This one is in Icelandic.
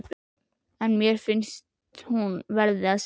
En finnst hún verða að segja: